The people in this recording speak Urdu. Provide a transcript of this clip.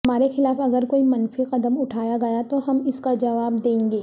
ہمارے خلاف اگر کوئی منفی قدم اٹھایا گیا تو ہم اس کا جواب دیں گے